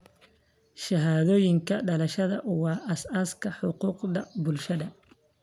Shahaadooyinka dhalashada waa aasaaska xuquuqda bulshada.